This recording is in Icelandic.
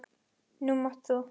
Nú mátt þú.